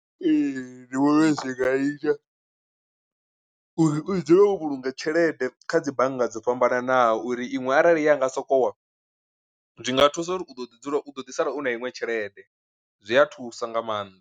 Ee ndi vhona uri zwi nga ita uri u dzule wo vhulunga tshelede kha dzi bannga dzo fhambananaho uri iṅwe arali ya nga sokou wa zwinga thusa uri u ḓo ḓi dzula u ḓo ḓi sala u na iṅwe tshelede, zwi a thusa nga maanḓa.